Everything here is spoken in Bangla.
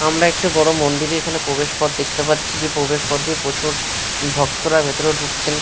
আমরা একটি বড় মন্দিরের এখানে প্রবেশ পথ দেখতে পাচ্ছি যে প্রবেশ পথ দিয়ে প্রচুর ভক্তরা ভেতরে ঢুকছেন।